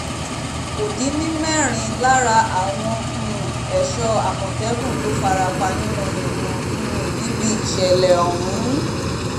kò dín ní mẹ́rin lára àwọn um ẹ̀ṣọ́ àmọ̀tẹ́kùn tó fara pa yànnà-yànnà um níbi ìṣẹ̀lẹ̀ ọ̀hún